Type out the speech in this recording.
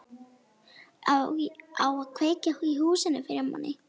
Á að kveikja í húsinu fyrir manni!